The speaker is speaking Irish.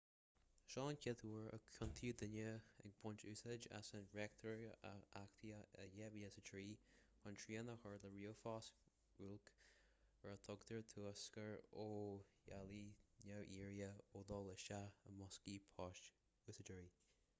seo an chéad uair a ciontaíodh duine ag baint úsáid as an reachtaíocht a achtaíodh i 2003 chun srian a chur le ríomhphoist bhuilc ar a dtugtar turscar ó dháileadh neamhiarrtha ó dhul isteach i mboscaí poist úsáideoirí